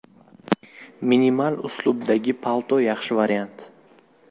Minimal uslubdagi palto yaxshi variant.